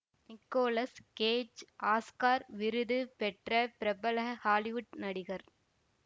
Nicolas Cage Oscar விருது பெற்ற பிரபல ஹாலிவுட் நடிகர்